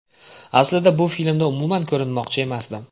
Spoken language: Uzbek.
Aslida bu filmda umuman ko‘rinmoqchi emasdim”.